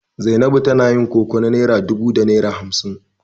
Zainabu tana yin koko na naira dubu da naira hamsin.